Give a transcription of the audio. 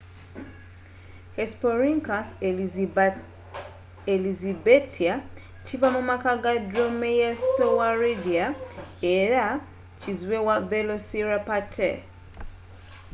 hesperonychus elizabethae kiva mu maka ga dromaeosauridae era kizibwe wa velociraptor